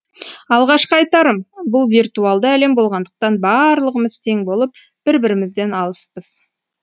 алғашқы айтарым бұл виртуалды әлем болғандықтан барлығымыз тең болып бір бірімізден алыспыз